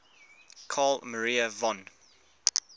carl maria von